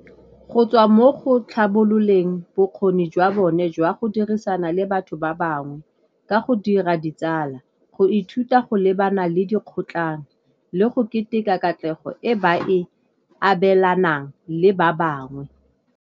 Go tswa mo go tlhabololeng bokgoni jwa bone jwa go dirisana le batho ba bangwe ka go dira ditsala go ithuta go lebana le dikgotlhang le go keteka katlego e ba e abelanang le ba bangwe.